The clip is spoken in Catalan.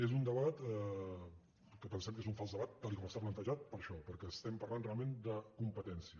és un debat que pensem que és un fals debat tal com està plantejat per això perquè estem parlant realment de competència